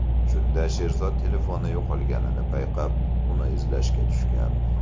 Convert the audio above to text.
Shunda Sherzod telefoni yo‘qolganini payqab, uni izlashga tushgan.